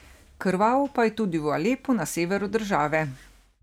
Krvavo pa je tudi v Alepu na severu države.